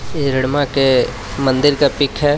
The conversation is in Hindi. ये हैदमा के मंदिर का पिक है.